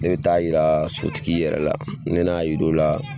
Ne be taa yira sotigi yɛrɛ la ni ne y'a yira o la